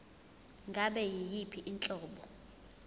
ngabe yiyiphi inhlobo